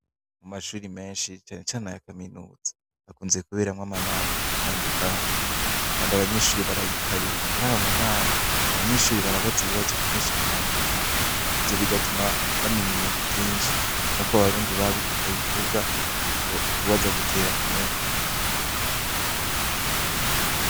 Mu mashuri menshi cane cane aya kaminuza hakunze kuberamwo amanama menshi atandukanye kandi abanyeshuri barayitabira, murayo manama abanyeshure barabaza ibibazo vyinshi bitandukanye ivyo bigatuma bamenya ibintu vyinshi. Nkuko abarundi babivuga kubaza gutera kumenya.